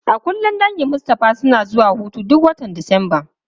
A kullum dangin Mustapha suna zuwa hutu duk watan Disamba.